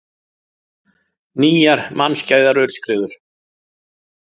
Nýjar mannskæðar aurskriður